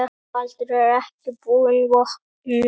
Baldur er ekki búinn vopnum.